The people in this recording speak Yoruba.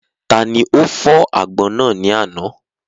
Taani ó fọ̀ àgbọn náà ní àná?